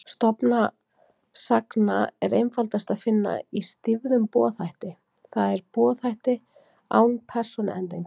Stofn sagna er einfaldast að finna í stýfðum boðhætti, það er boðhætti án persónuendinga.